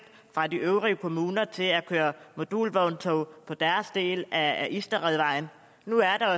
fra de øvrige kommuner til at køre modulvogntog på deres del af isterødvejen nu er der